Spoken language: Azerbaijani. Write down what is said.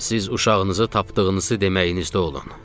Siz uşağınızı tapdığınızı deməyinizdə olun.